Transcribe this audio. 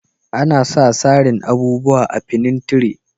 Ana sa sarin abubuwa a'finintire.